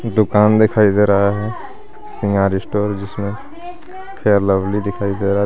दुकान दिखाए दे रहा है सामन स्टोर जिसमें फेयरलोवली दिखाए दे रहा है.